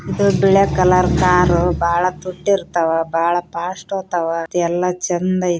ಇದು ಬಿಳಿ colour car . ಬಾಳ ತುಟ್ಟಿ ಇರ್ತಾವ. ಬಾಳ ಫಾಸ್ಟ್‌ ಹೋತ್ತಾವ. ಮತ್ತ್ ಎಲ್ಲಾ ಚೆಂದ ಐತಿ .